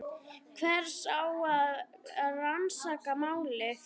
Hver á að rannsaka málið?